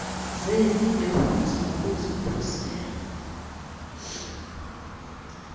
zeli befundisa ngokuzikhusela